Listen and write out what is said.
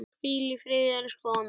Hvíl í friði, elsku Anna.